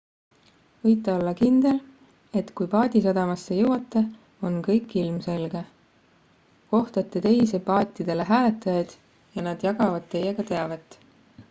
võite olla kindel et kui paadisadamasse jõuate on kõik ilmselge kohtate teisi paatidele hääletajaid ja nad jagavad teiega teavet